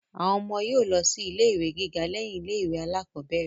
Àwọn ọmọ yóò lọ sí ilé ìwé gíga lẹ́yìn ilé ìwé alákọ́bẹ̀rẹ̀